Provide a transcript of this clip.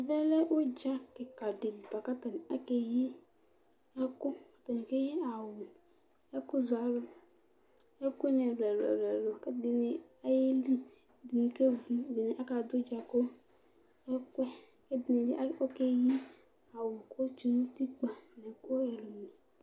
Ɛvɛlɛ ʋdza kìka ɖi bʋakʋ ataŋi akeyi ɛku Ataŋi keyi awu, ɛku zʋalʋ, ɛku ni ɛlu ɛlu kʋ ɛɖìní aɣeli Ɛɖìní kevʋ kʋ ɛɖìní kaɖu udza kʋ ɛkuyɛ